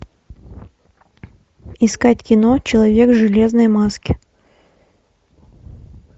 искать кино человек в железной маске